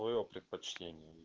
моё предпочтение